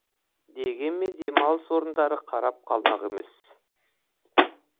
дегенмен демалыс орындары қарап қалмақ емес